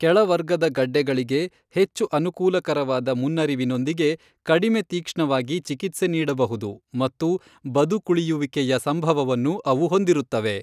ಕೆಳ ವರ್ಗದ ಗಡ್ಡೆಗಳಿಗೆ, ಹೆಚ್ಚು ಅನುಕೂಲಕರವಾದ ಮುನ್ನರಿವಿನೊಂದಿಗೆ, ಕಡಿಮೆ ತಿಕ್ಷ್ಣವಾಗಿ ಚಿಕಿತ್ಸೆ ನೀಡಬಹುದು ಮತ್ತು ಬದುಕುಳಿಯುವಿಕೆಯ ಹೆಚ್ಚಿನ ಸಂಭವವನ್ನು ಅವು ಹೊಂದಿರುತ್ತವೆ.